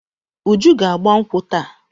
Uju ga-agba nkwụ́ taa.